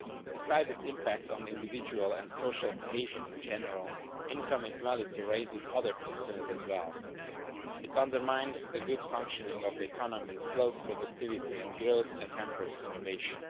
Besides its impact on the individual and on social cohesion in general, income inequality raises other concerns as well it undermines the good functioning of the economy, slows productivity and growth, and hampers innovation.